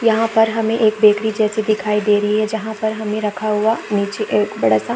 यहाँ पर हमें एक बेकरी जैसी दिखाई दे रही है जहाँ पर हमें रखा हुआ नीचे एक बड़ा सा --